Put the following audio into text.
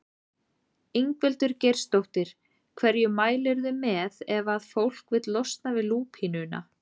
Ingveldur Geirsdóttir: Hverju mælirðu með ef að fólk vill losna við lúpínuna?